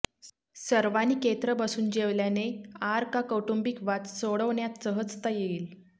सर्वानी केत्र बसून जेवल्याने आर का कौटुंबिक वाद सोडवण्यात सहजता येईल